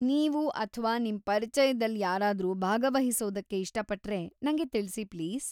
ನೀವು ಅಥ್ವಾ ನಿಮ್‌ ಪರಿಚಯದಲ್‌ ಯಾರಾದ್ರೂ ಭಾಗವಹಿಸೋದಕ್ಕೆ ಇಷ್ಟಪಟ್ರೆ, ನಂಗೆ ತಿಳ್ಸಿ ಪ್ಲೀಸ್.